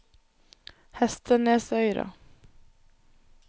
Hestenesøyra